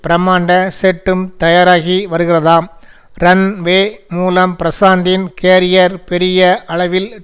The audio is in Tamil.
பிரமாண்ட செட்டும் தயாராகி வருகிறதாம் ரன் வே மூலம் பிரஷாந்தின் கேரியர் பெரிய அளவில்